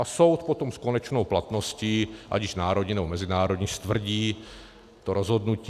A soud potom s konečnou platností, ať již národní, nebo mezinárodní, stvrdí to rozhodnutí.